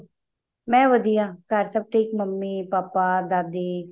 ਮੈਂ ਵਧੀਆ ਘਰ ਸਭ ਠੀਕ ਮੰਮੀ ਪਾਪਾ ਦਾਦੀ